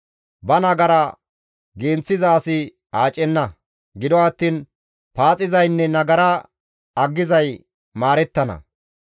Ba nagara genththiza asi aacenna; gido attiin paaxizaynne nagara aggizay maarettana.